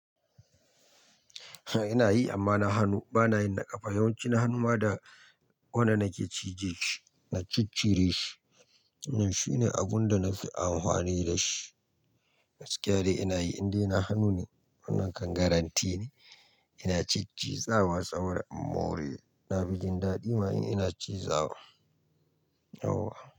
Ina yi amma na hanu, ba na yi na ƙafa. Yawanci na hanu ma da wannan nake cije shi, na ciccire shi. Shine abun da na fi amfani da shi. Gaskiya dai ina yi indai na hanu ne, wannan kan garante ne. Ina ciciji, zawa, saboda in more. Na fi jin daɗi ma in ina ciza wa. Yau wa.